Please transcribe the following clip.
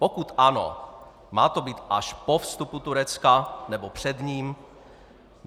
Pokud ano, má to být až po vstupu Turecka, nebo před ním?